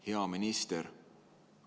Hea minister!